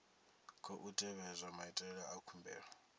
khou tevhedzwa maitele a khumbelo